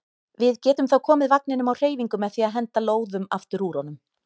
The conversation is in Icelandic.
Við getum þá komið vagninum á hreyfingu með því að henda lóðum aftur úr honum.